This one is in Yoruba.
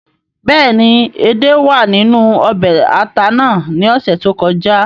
Béèni edé wàa ninu ọbè ata nàá ni ọsẹ to kọja